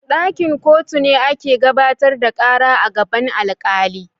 Dakin kotu ne ake gabatar da kara a gaban alkali.